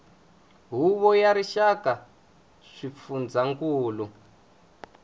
huvo ya rixaka ya swifundzankulu